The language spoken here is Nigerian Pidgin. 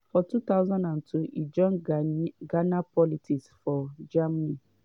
for 2002 e join ghana politics for germany.